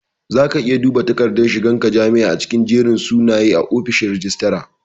Zaka iya duba dakardar shigan ka jami'a a cikin jerin sunaye a ofishin rajistara